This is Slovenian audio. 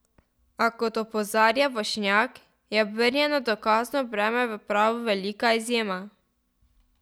A, kot opozarja Vošnjak, je obrnjeno dokazno breme v pravu velika izjema.